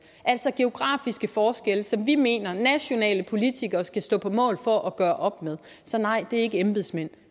altså geografiske forskelle som vi mener at nationale politikere skal stå på mål for at gøre op med så nej det er ikke embedsmænd